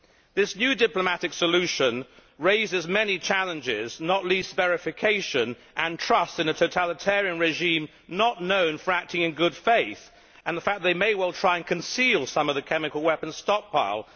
This new diplomatic solution raises many challenges, not least those of verification and of trust in a totalitarian regime not known for acting in good faith, as well as the fact that they may try to conceal some of the chemical weapons stockpile.